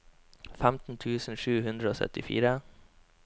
femten tusen sju hundre og syttifire